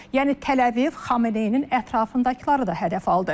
Yəni Təl-Əviv Xameneinin ətrafındakıları da hədəf aldı.